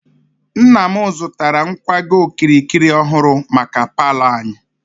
Nna m zụtara nkwago okirikiri ọhụrụ maka paalọ anyị.